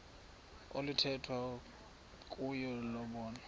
oluthethwa kuyo lobonwa